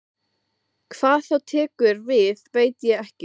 Hvað þá tekur við veit ég ekki.